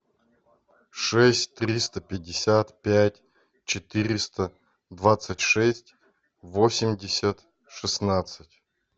шесть триста пятьдесят пять четыреста двадцать шесть восемьдесят шестнадцать